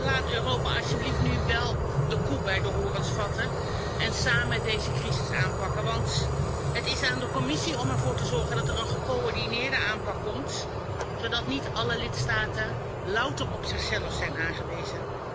Laat Europa alsjeblieft nu wél de koe bij de horens vatten en samen deze crisis aanpakken, want het is aan de Commissie om ervoor te zorgen dat er een gecoördineerde aanpak komt, zodat niet alle lidstaten louter op zichzelf zijn aangewezen.